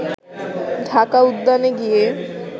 ঢাকা উদ্যানে গিয়ে